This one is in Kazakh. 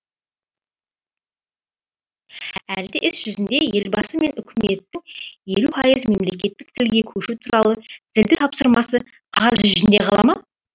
әлде іс жүзінде елбасы мен үкіметтің елу пайыз мемлекеттік тілге көшу туралы зілді тапсырмасы қағаз жүзінде қала ма